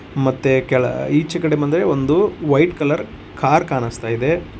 ಮತ್ತೆ ಕೆಲ ಈಚೆ ಕಡೆ ಬಂದ್ರೆ ಒಂದು ವೈಟ್ ಕಲರ್ ಕಾರ್ ಕಾಣಿಸ್ತಾ ಇದೆ.